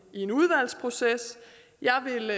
i en udvalgsproces jeg vil